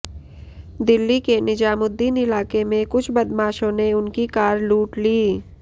दिल्ली के निजामुद्दीन इलाके में कुछ बदमाशों ने उनकी कार लूट ली